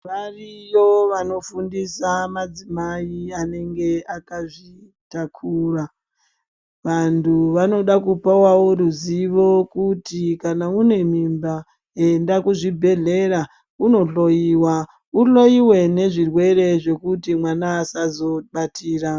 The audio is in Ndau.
Variyo vanofundisa madzimai anenge akazvitakura vandu vanoda kupawawo ruzivo kuti kana une mimba enda kuzvibhedhlera unokuhloyiwa ukuhloyiwe nezvirwere kuti mwana asazobatira .